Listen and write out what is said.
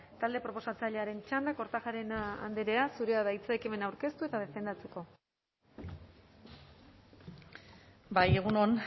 talde proposatzailearen txanda kortajarena andrea zurea da hitza ekimena aurkeztu eta defendatzeko bai egun on